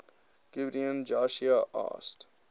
gibeon joshua asked